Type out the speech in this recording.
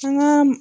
An ka